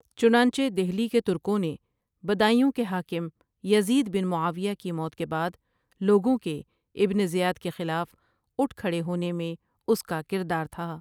چنانچہ دہلی کے ترکوں نے بدایوں کے حاکم یزید بن معاویہ کی موت کے بعد لوگوں کے ابن زیاد کے خلاف اٹھ کھڑے ہونے میں اس کا کردار تھا ۔